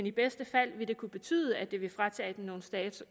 i bedste fald kunne betyde at det ville fratage dem noget status